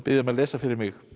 um að lesa fyrir mig